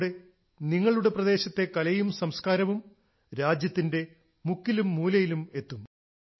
ഇതിലൂടെ നിങ്ങളുടെ പ്രദേശത്തെ കലയും സംസ്കാരവും രാജ്യത്തിന്റെ മുക്കിലും മൂലയിലും എത്തും